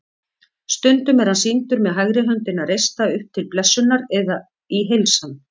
Stundum er hann sýndur með hægri höndina reista upp til blessunar eða í heilsan.